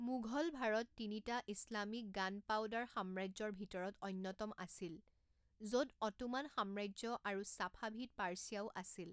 মুঘল ভাৰত তিনিটা Islamic gunpowder সাম্ৰাজ্যৰ ভিতৰত অন্যতম আছিল, য'ত অটোমান সাম্ৰাজ্য আৰু চাফাভিদ পাৰ্ছিয়াও আছিল।